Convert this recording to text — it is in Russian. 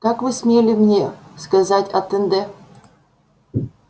как вы смели мне сказать атанде